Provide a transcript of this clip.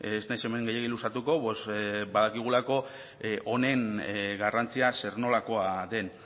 ez naiz hemen gehiegi luzatuko pues badakigulako honen garrantzia zer nolakoa den